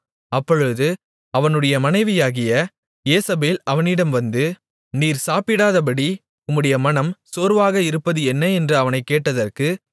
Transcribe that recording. அப்பொழுது அவனுடைய மனைவியாகிய யேசபேல் அவனிடம் வந்து நீர் சாப்பிடாதபடி உம்முடைய மனம் சோர்வாக இருப்பது என்ன என்று அவனைக் கேட்டதற்கு